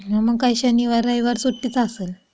मग काय शनिवार रविवार सुट्टीचा असेल.